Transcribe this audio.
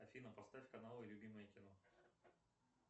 афина поставь каналы любимое кино